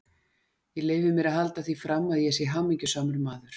Ég leyfi mér að halda því fram, að ég sé hamingjusamur maður.